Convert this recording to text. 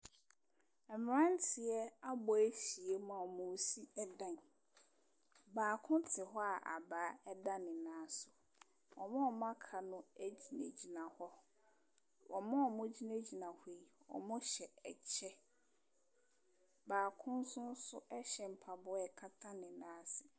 Mmeranteɛ abɔ ahyiam a wɔresi dan. Baako te hɔ a abaa da ne nan so. Wɔn a wɔaka no gyinagyina hɔ. Wɔn a wɔgyinagyina hɔ yi, wɔhyɛ kyɛ. Baako nso so hyɛ mpaboa a ɛkata ne nan ase.